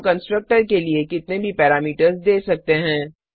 हम कंस्ट्रक्टर के लिए कितने भी पैरामीटर्स दे सकते हैं